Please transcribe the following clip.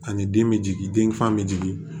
Ani den bɛ jigin den fa bɛ jigin